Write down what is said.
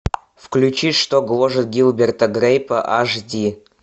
включи что гложет гилберта грейпа аш ди